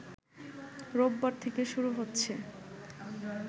রোববার থেকে শুরু হচ্ছে